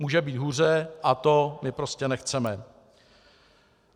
Může být hůře a to my prostě nechceme.